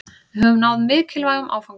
Við höfum náð mikilvægum áfanga